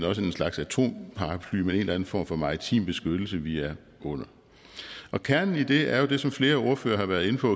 også en slags atomparaply med en eller anden form for maritim beskyttelse vi er under kernen i det er jo det som flere ordførere har været inde på